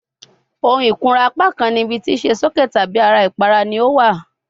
Ohun ikunra apakan ni ibi ti ṣe soke tabi ara ipara ni o wa